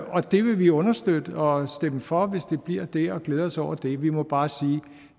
og det vil vi understøtte og stemme for hvis det bliver det og glæde os over det vi må bare sige